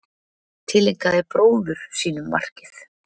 Tileinkaði bróður sínum markið